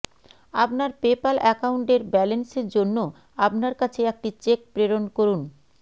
আপনার পেপাল একাউন্টের ব্যালেন্সের জন্য আপনার কাছে একটি চেক প্রেরণ করুন